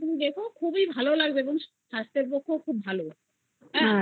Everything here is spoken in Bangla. তুমি দেখো খুবই ভালো লাগবে খেতে হ্যাএবার ওই